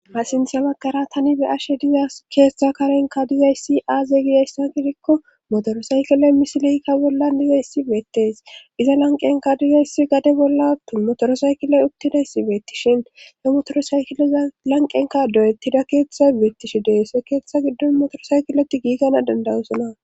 Sintha baggara tani be ashe diza keetetza karenka duyayssi aaze gidayssa gidikko motorosaykilay misileykka bolla digayssi beettees iza lanqenka duyayssi gade bolla motorosaykilay uttidayssi beettishin he motorosaykiliza lanqenka doyettida keeththa beettishi deese keeththa giddon motorosaykiloti giigana dandawosona.